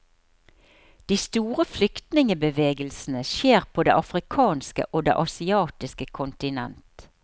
De store flyktningbevegelsene skjer på det afrikanske og det asiatiske kontinent.